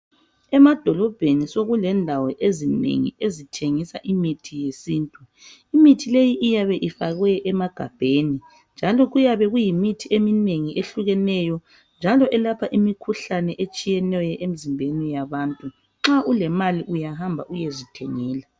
Emadolobheni sokulendawo ezinengi ezithengisa imithi yesintu imithi leyi iyabe ifakwe emagabheni njalo iyabe iyimithi eminengi eyehlukeneyo njalo eyelapha imikhuhlane etshiyeneyo emizimbeni yabantu nxa ulemali uyahamba uyezithengela